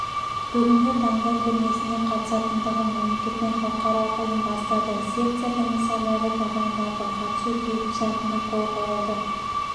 бүгінгі таңда көрмесіне қатысатындығын мемлекет пен халықаралық ұйым растады секция комиссарлары тағайындалды қатысу келісімшартына қол қойылды